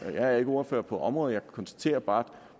er ikke ordfører på området jeg konstaterer bare